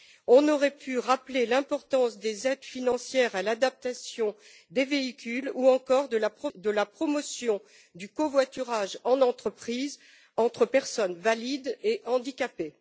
On aurait pu rappeler l'importance des aides financières à l'adaptation des véhicules, ou encore de la promotion du covoiturage en entreprise entre personnes valides et handicapées.